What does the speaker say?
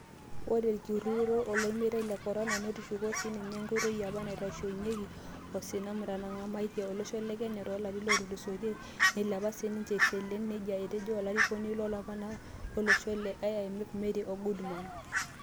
ore olkirutoto lolmetai le Corona netushuko sininye ingoitoi apa naitayunyiaki osina nnatangamatia olosho le Kenya too larini otulusoitia, neilepa sininche isilen," nejia etejo enkarikoni oolaparanak lolosho le Kenya le IMF Mary Goodman.